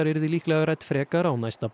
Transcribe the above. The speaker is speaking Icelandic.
yrði líklega rædd frekar á næsta